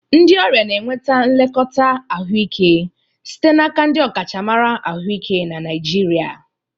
Ndị ọrịa na-enweta nlekọta ahụike site n'aka ndị ọkachamara ahụike na Naijiria.